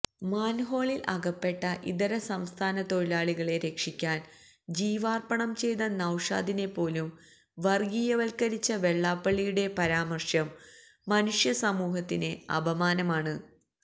മാൻഹോളിൽ അകപ്പെട്ട ഇതരസംസ്ഥാന തൊഴിലാളികളെ രക്ഷിക്കാൻ ജീവാർപ്പണം ചെയ്ത നൌഷാദിനെപ്പോലും വർഗീയവത്കരിച്ച വെള്ളാപ്പള്ളിയുടെ പരാമർശം മനുഷ്യസമൂഹത്തിന് അപമാനമാണ്